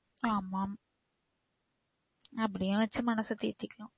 ஆமாம். அப்டியும் வச்சி மனச தேத்திகலாம்.